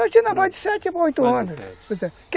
Eu tinha na base de sete para oito anos.